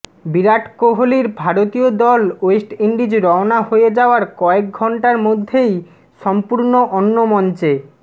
বিরাট কোহালির ভারতীয় দল ওয়েস্ট ইন্ডিজ রওনা হয়ে যাওয়ার কয়েক ঘণ্টার মধ্যেই সম্পূর্ণ অন্য মঞ্চে